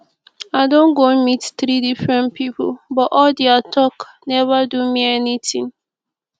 i don go meet three different people but all dia talk never do me anything